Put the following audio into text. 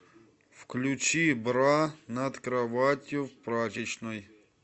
включи бра над кроватью в прачечной